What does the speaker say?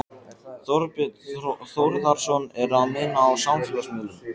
Þorbjörn Þórðarson: Eru að meina á samfélagsmiðlum?